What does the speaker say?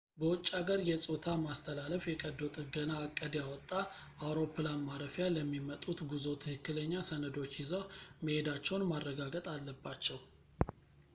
በውጭ አገር የ ፆታ ማስተላለፍ የቀዶ ጥገና ዕቅድ ያወጣ አውሮፕላን ማረፊያ ለሚመጡት ጉዞ ትክክለኛ ሰነዶች ይዘው መሄዳቸውን ማረጋገጥ አለባቸው